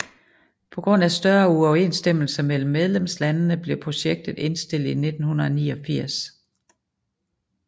På grund af større uoverensstemmelser mellem medlemslandende blev projektet indstillet i 1989